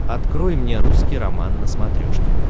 открой мне русский роман на смотрешке